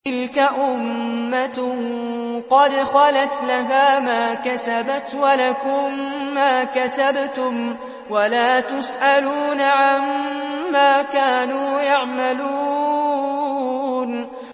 تِلْكَ أُمَّةٌ قَدْ خَلَتْ ۖ لَهَا مَا كَسَبَتْ وَلَكُم مَّا كَسَبْتُمْ ۖ وَلَا تُسْأَلُونَ عَمَّا كَانُوا يَعْمَلُونَ